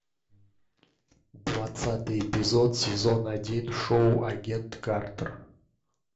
двадцатый эпизод сезон один шоу агент картер